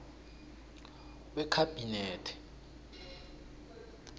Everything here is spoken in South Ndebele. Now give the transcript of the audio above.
wekhabinethe